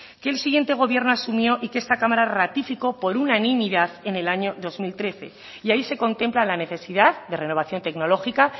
que el siguiente gobierno asumió y que esta cámara ratificó por unanimidad en el año dos mil trece y ahí se contempla la necesidad de renovación tecnológica